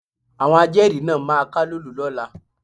Àwọn ajẹ́rìí náà máa kálòlò lọ́la.